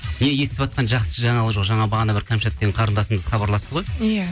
не естіватқан жақсы жаңалық жоқ жаңа бағана бір кәмшат деген қарындасымыз хабарласты ғой иә